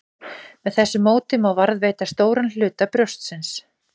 Með þessu móti má varðveita stóran hluta brjóstsins.